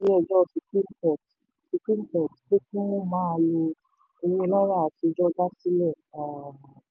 ìdájọ́ ilé ẹjọ́ supreme court supreme court pé kí wọ́n máa lo owó náírà àtijọ́ dá ìjà sílẹ̀. um